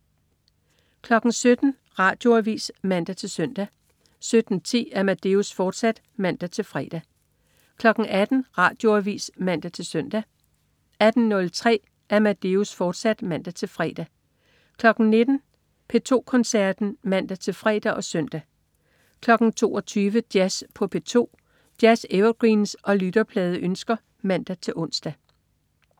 17.00 Radioavis (man-søn) 17.10 Amadeus, fortsat (man-fre) 18.00 Radioavis (man-søn) 18.03 Amadeus, fortsat (man-fre) 19.00 P2 Koncerten (man-fre og søn) 22.00 Jazz på P2. Jazz-evergreens og lytterpladeønsker (man-ons)